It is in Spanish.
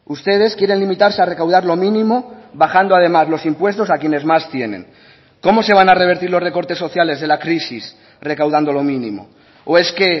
ustedes quieren limitarse a recaudar lo mínimo bajando además los impuestos a quienes más tienen cómo se van a revertir los recortes sociales de la crisis recaudando lo mínimo o es que